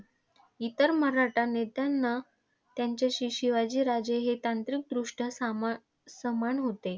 इतर मराठा नेत्यांना, त्यांच्याशी शिवाजी राजे हे तांत्रिकदृष्ट्या साम समान होते.